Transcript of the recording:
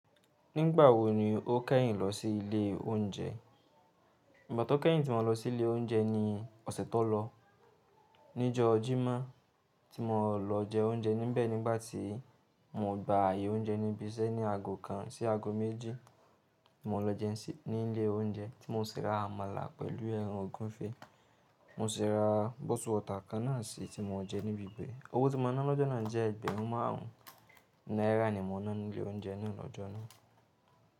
Nígbà wo ni o kẹ́yìn lọ sí ilé oúnjẹ? Ìgbà tó kẹ́yìn tí mo lọ sí ilé oúnjẹ ni ọ̀sẹ̀ tó lọ. Níjọ́ Jímọ̀ tí mo lọ jẹ oúnjẹ. Níbẹ̀ nígbà tí mo gba ààyè oúnjẹ níbi iṣẹ́ ní àgò kan sí àgò méjì. Mo lọ jẹun sí ní ilé oúnjẹ tí mo ṣì ra àmàlà pẹ̀lú ẹran ogunfe. Mo sì ra bottle water kan náà sí tí mo jẹ níbi ìbẹ̀. Owó tí mo ná lọ́jọ́ náà jẹ́ ẹgbẹ̀rún márùn-ún náírà ni mo ná ní ilé oúnjẹ náà lọ́jọ́ náà.